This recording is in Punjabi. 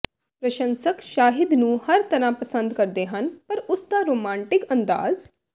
ਪ੍ਰਸ਼ੰਸਕ ਸ਼ਾਹਿਦ ਨੂੰ ਹਰ ਤਰ੍ਹਾਂ ਪਸੰਦ ਕਰਦੇ ਹਨ ਪਰ ਉਸ ਦਾ ਰੋਮਾਂਟਿਕ ਅੰਦਾਜ਼